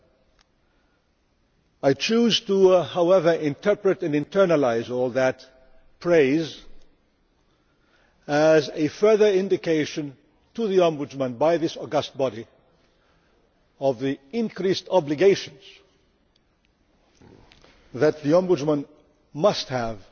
However, I choose to interpret and internalise all that praise as a further indication to the Ombudsman by this august body of the increased obligations that the Ombudsman must